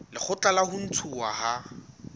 lekgotla la ho ntshuwa ha